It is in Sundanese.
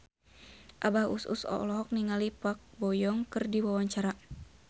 Abah Us Us olohok ningali Park Bo Yung keur diwawancara